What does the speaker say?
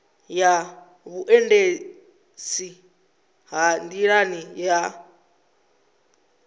ya vhuendisi ha nḓilani ha